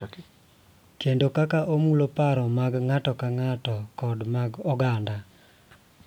Kendo kaka omulo paro mag ng�ato ka ng�ato kod mag oganda.